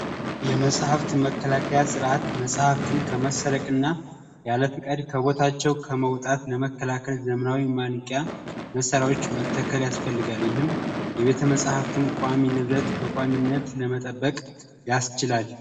የመጽሐፍት መከላከያ ሥርዓት መጽሕፍትን ከማሰረቅና የአለፍቃድ ከቦታቸው ከመውጣት ለመከላከል ዘምራዊ ማንቂያ መሠራዎች መተከል ያስፈልጋል። ይህም የቤተ መጽሕፍትን ቋሚ ንብረት በቋሚነት ለመጠበቅ ያስችላል።